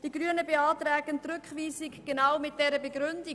Die Grünen beantragen die Rückweisung genau mit dieser Begründung.